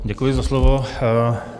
Děkuji za slovo.